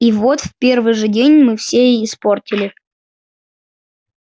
и вот в первый же день мы все испортили